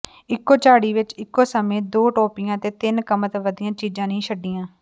ਇੱਕੋ ਝਾੜੀ ਵਿਚ ਇੱਕੋ ਸਮੇਂ ਦੋ ਟੋਪੀਆਂ ਅਤੇ ਤਿੰਨ ਕਮਤ ਵਧੀਆਂ ਚੀਜ਼ਾਂ ਨਹੀਂ ਛੱਡੀਆਂ